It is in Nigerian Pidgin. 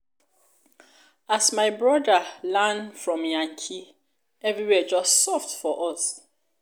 as my broda land from yankee everywhere just soft for us.